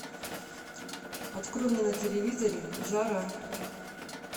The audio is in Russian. открой мне на телевизоре жара